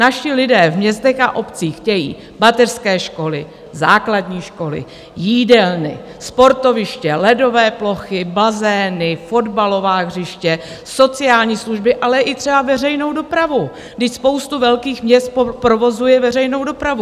Naši lidé v městech a obcích chtějí mateřské školy, základní školy, jídelny, sportoviště, ledové plochy, bazény, fotbalová hřiště, sociální služby, ale i třeba veřejnou dopravu, když spousta velkých měst provozuje veřejnou dopravu.